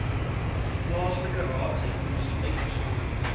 plaaslike raadsheffings uitgesonderd